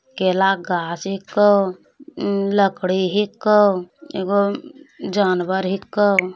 केला के गाछ हेको लकड़ी हिको एगो जानवर हिको ।